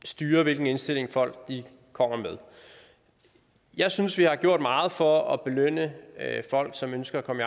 styre hvilken indstilling folk kommer med jeg synes vi har gjort meget for at belønne folk som ønsker at komme